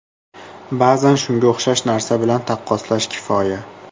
Ba’zan shunga o‘xshash narsa bilan taqqoslash kifoya.